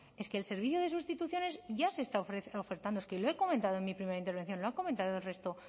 es que el servicio de sustituciones ya se está ofertando es que lo he comentado en mi primera intervención lo ha comentado el resto